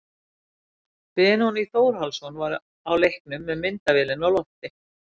Benóný Þórhallsson var á leiknum með myndavélina á lofti.